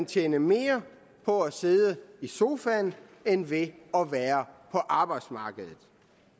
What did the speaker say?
tjene mere på at sidde i sofaen end ved at være på arbejdsmarkedet